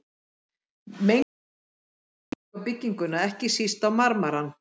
Mengunin hefur skaðleg áhrif á bygginguna, ekki síst á marmarann.